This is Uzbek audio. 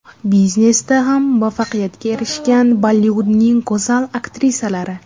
Biznesda ham muvaffaqiyatga erishgan Bollivudning go‘zal aktrisalari .